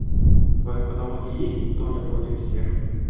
в твоем каталоге есть тони против всех